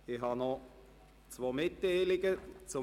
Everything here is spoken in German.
Ich habe noch zwei Mitteilungen zu machen.